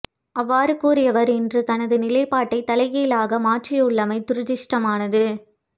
அவ்வாறு கூறியவர் இன்று தனது நிலைப்பாட்டை தலைகீழாக மாற்றியுள்ளமை துரதிஷ்டமானது